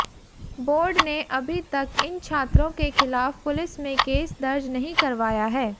board ने अभी तक इन छात्रों के खिलाफ पुलिस में केस दर्ज नहीं करवाया है